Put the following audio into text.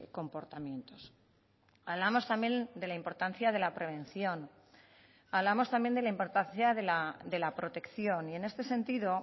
comportamientos hablamos también de la importancia de la prevención hablamos también de la importancia de la protección y en este sentido